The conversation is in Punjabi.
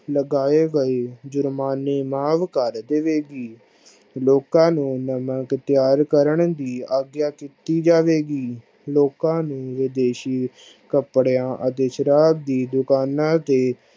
ਲਗਾਏ ਗਏ ਜੁਰਮਾਨੇ ਮਾਫ ਕਰ ਦਵੇ ਗੀ ਲੋਕਾ ਨੂੰ ਨਵਾਂ ਕਰਨ ਦੀ ਆਗਿਆ ਕੀਤੀ ਜਾਵੇ ਗੀ ਲੋਕਾ ਨੂੰ ਵਦੇਸ਼ੀ ਕਪੜਿਆ ਅਤੇ ਸ਼ਰਾਬ ਦੀ ਦੁਕਾਨਾਂ ਤੇ